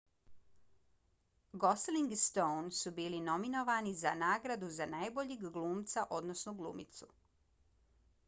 gosling i stone su bili nominovani za nagradu za najboljeg glumca odnosno glumicu